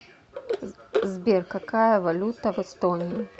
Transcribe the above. сбер какая валюта в эстонии